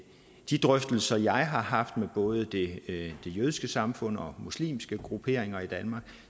de drøftelser jeg har haft med både det det jødiske samfund og muslimske grupperinger i danmark